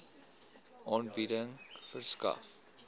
aanbieding verskaf